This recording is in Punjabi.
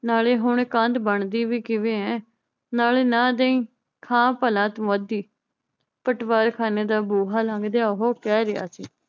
ਨਾਲੇ ਹੁਣ ਕੰਧ ਬਣਦੀ ਵੀ ਕਿਵੇਂ ਏ ਨਾਲੇ ਨਾ ਦਈ ਖਾ ਭਲਾ ਤੂੰ ਅੱਧੀ ਪਟਵਾਰਖਾਣੇ ਦਾ ਬੂਹਾ ਲੰਘਦਿਆਂ ਉਹ ਕਹਿ ਰਿਹਾ ਸੀ